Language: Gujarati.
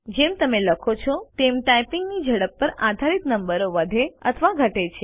જેમ તમે લખો છો તેમ ટાઇપિંગ ની ઝડપ પર આધારિત નંબર વધે અથવા ઘટે છે